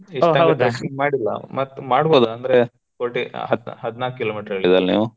ಈಗ ಮಾಡಿಲ್ಲಾ ಮತ್ ಮಾಡಬೋದ ಅಂದ್ರೆ forty ಹ~ ಹದ್ನಾಲ್ಕ kilo meter ಹೇಳಿದಲ್ ನೀವು.